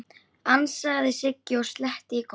ansaði Siggi og sletti í góm.